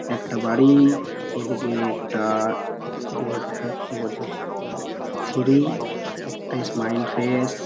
একটা বাড়ি | এদিকে একটা কি বোর্ড | হুম কি বলছো? সিঁড়ি একটা স্মাইল ফেস --